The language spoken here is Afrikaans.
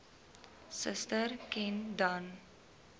suster ken dan